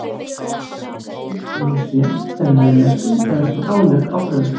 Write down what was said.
Hún er borðuð ein og sér, sem meðlæti eða sem álegg á brauð.